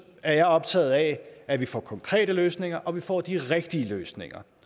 at jeg er optaget af at vi får konkrete løsninger og at vi får de rigtige løsninger